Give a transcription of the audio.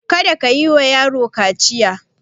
Kada kayi wa yaro na kaciya!